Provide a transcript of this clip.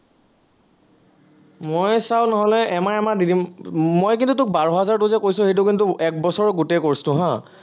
মই চা, নহলে এমাহ এমাহ দি দিম, মই কিন্তু তোক বাৰ হাজাৰটো যে কৈছো, সেইটো কিন্তু একবছৰৰ গোটেই course টো হা